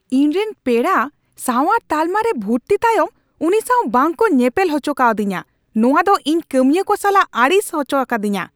ᱤᱧ ᱨᱮᱱ ᱯᱮᱲᱟ ᱥᱟᱶᱟᱨ ᱛᱟᱞᱢᱟ ᱨᱮ ᱵᱷᱩᱨᱛᱤ ᱛᱟᱭᱚᱢ ᱩᱱᱤ ᱥᱟᱶ ᱵᱟᱝᱠᱚ ᱧᱮᱯᱮᱞ ᱚᱪᱚ ᱠᱟᱣᱫᱤᱧᱟᱹ ᱾ ᱱᱚᱣᱟ ᱫᱚ ᱤᱧ ᱠᱟᱹᱢᱤᱭᱟᱹ ᱠᱚ ᱥᱟᱞᱟᱜ ᱟᱹᱲᱤᱥ ᱚᱪᱚ ᱟᱠᱟᱫᱤᱧᱟᱹ ᱾